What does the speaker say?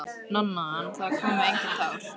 Nonna, en það komu engin tár.